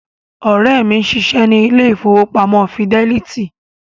Ọ̀rẹ́ mi ń ṣiṣẹ́ ní ilé ìfowópamọ́ fidẹ́lítì